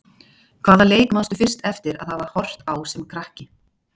Hvaða leik manstu fyrst eftir að hafa horft á sem krakki?